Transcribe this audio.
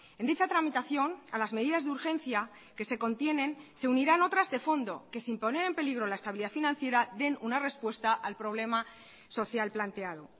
en dicha tramitación a las medidas de urgencia que se contienen se unirán otras de fondo que sin poner en peligro la estabilidad financiera den una respuesta al problema social planteado